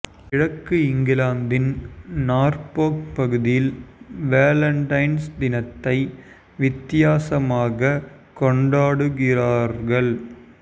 கிழக்கு இங்கிலாந்தின் நார்போக் பகுதியில் வேலண்டைன்ஸ் தினத்தை வித்தியாசமாகக் கொண்டாடுகிறார்கள்